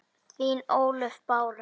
Þín Ólöf Bára.